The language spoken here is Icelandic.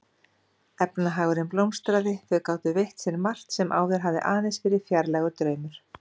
Efnahagurinn blómstraði, þau gátu veitt sér margt sem áður hafði aðeins verið fjarlægur draumur.